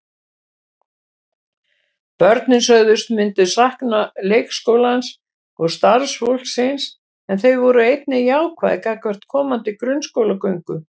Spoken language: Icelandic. Börnin sögðust myndu sakna leikskólans og starfsfólksins en þau voru einnig jákvæð gagnvart komandi grunnskólagöngu.